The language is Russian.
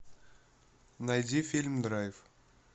найди фильм драйв